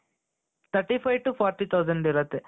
thirty five thousand to forty thousand ಇರುತ್ತೆ